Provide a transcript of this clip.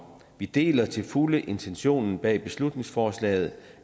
vi deler til fulde intentionen bag beslutningsforslaget